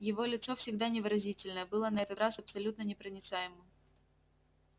его лицо всегда невыразительное было на этот раз абсолютно непроницаемым